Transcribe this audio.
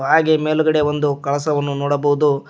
ಹಾಗೆ ಮೇಲ್ಗಡೆ ಒಂದು ಕಳಸವನ್ನು ನೋಡಬಹುದು.